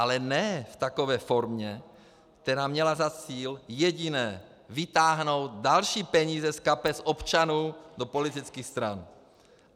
Ale ne v takové formě, která měla za cíl jediné - vytáhnout další peníze z kapes občanů do politických stran.